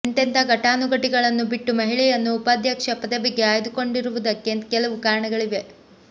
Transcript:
ಎಂತೆಂಥಾ ಘಟಾನುಘಟಿಗಳನ್ನು ಬಿಟ್ಟು ಮಹಿಳೆಯನ್ನು ಉಪಾಧ್ಯಕ್ಷ ಪದವಿಗೆ ಆಯ್ದುಕೊಂಡಿರುವುದಕ್ಕೆ ಕೆಲವು ಕಾರಣಗಳಿವೆ